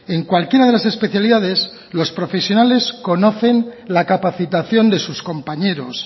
en cualquiera de las especialidades los profesionales conocen la capacitación de sus compañeros